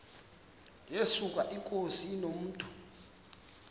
yesuka inkosi inomntu